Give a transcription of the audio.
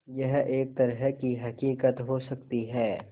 यह एक तरह की हक़ीक़त हो सकती है